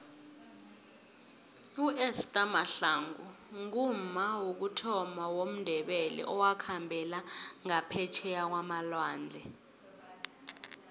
uester mahlangu ngumma wokuthoma womndebele owakhambela ngaphetjheya kwamalwandle